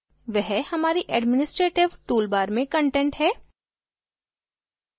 वह हमारी administrative toolbar में content है